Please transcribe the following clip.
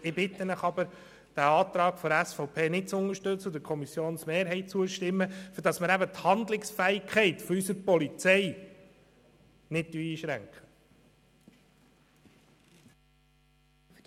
Ich bitte Sie, den Antrag der SVP nicht zu unterstützen und der Kommissionsmehrheit zu folgen, damit die Handlungsfähigkeit der Polizei nicht eingeschränkt wird.